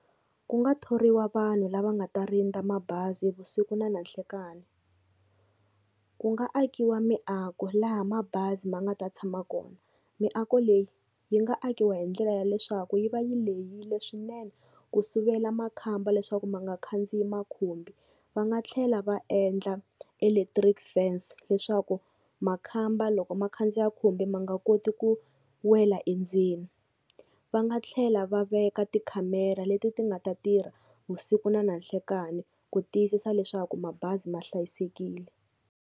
Ku nga thoriwa vanhu lava nga ta rindza mabazi vusiku na nanhlikani. Ku nga akiwa miako laha mabazi ma nga ta tshama kona, miako leyi yi nga akiwa hi ndlela ya leswaku yi va yi lehile swinene ku sivela makhamba leswaku ma nga khandziyi makhumbi. Va nga tlhela va endla electric fence, leswaku makhamba loko ma khandziya khumbi ma nga koti ku wela endzeni. Va nga tlhela va veka tikhamera leti ti nga ta tirha vusiku na nanhlekani ku tiyisisa leswaku mabazi ma hlayisekile.